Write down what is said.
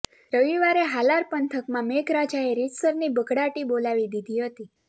રવિવારે હાલાર પંથકમાં મેઘરાજાએ રીતસરની બઘડાટી બોલાવી દીધી હતી